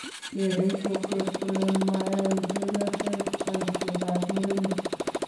kereei kokwet kole mayae chepyoset boisietab murenik